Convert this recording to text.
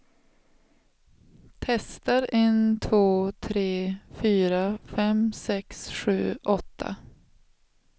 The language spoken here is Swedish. Testar en två tre fyra fem sex sju åtta.